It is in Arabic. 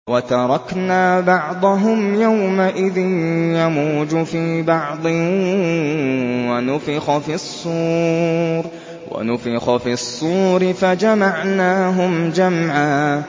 ۞ وَتَرَكْنَا بَعْضَهُمْ يَوْمَئِذٍ يَمُوجُ فِي بَعْضٍ ۖ وَنُفِخَ فِي الصُّورِ فَجَمَعْنَاهُمْ جَمْعًا